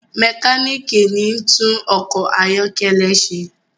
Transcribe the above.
mekaniki ní tún ọkọ ayọkẹlẹ ṣe